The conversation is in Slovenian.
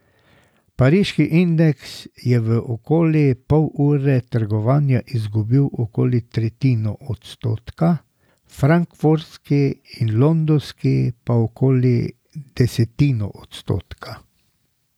Pariški indeks je v okoli pol ure trgovanja izgubil okoli tretjino odstotka, frankfurtski in londonski po okoli desetino odstotka.